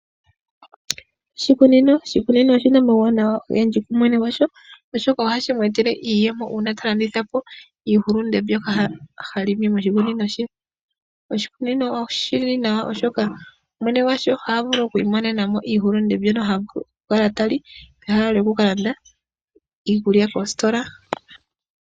Oshikunino, oshikuino oshina omawuwanawa ogendji kumwene gwasho oshoka ohashi mu utele iiyemo uuna talandithapo iihulunde mbyoka halongo moshikunino she. Oshikunino oshili nawa oshoka mwene gwasho ohavulu okumona mo iihulunde mbyoka havulu okukala tali peha lyokukalanda iikulya koositola.